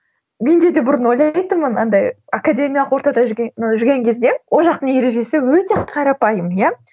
менде де бұрын ойлайтынмын андай академиялық ортада жүрген кезде ол жақтың ережесі өте қарапайым иә